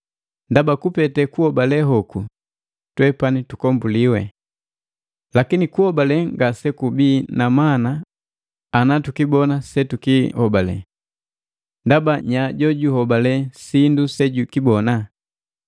Ndaba kupete kuhobale hoku twepani tukombuliwi. Lakini kuhobale ngasekubi na mana ana tukibona setukihobale. Ndaba nya jojuhobale sindu sejukibona?